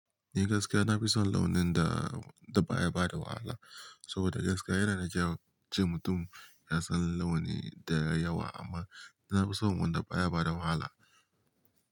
Ni gaskiya na fi son launin da, da baya bada wahala. Saboda gaskiya yana da kyau ce mutum ya san launi da yawa amma na fi son wanda baya bada wahala.